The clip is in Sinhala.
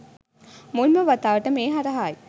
මුල්ම වතාවට මේ හරහායි.